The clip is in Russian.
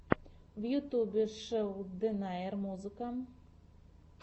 в ютьюбе шелл дэнаер музыка